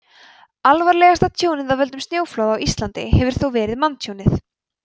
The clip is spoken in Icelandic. alvarlegasta tjónið af völdum snjóflóða á íslandi hefur þó verið manntjónið